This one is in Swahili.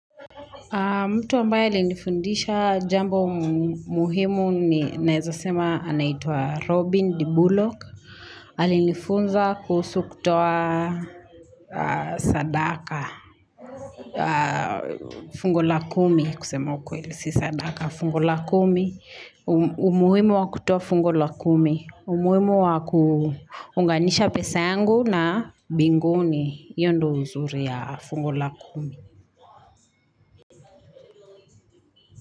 Mtu ambaye alienifundisha jambo muhimu naeza sema anaitwa Robin D. Bullock. Alinifunza kuhusu kutoa sadaka, fungo la kumi kusema kweili si sadaka. Fungo la kumi, umuhimu wa kutoa fungo la kumi. Umuhimu wa kuhunganisha pesa yangu na binguni hio ndo uzuri ya fungo la kumi.